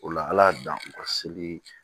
O la ala y'a dan o ka seli